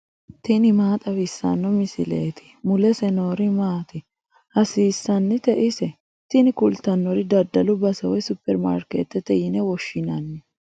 tini maa xawissanno misileeti ? mulese noori maati ? hiissinannite ise ? tini kultannori daddalu base woy superimaarikeettete yine woshshinanni.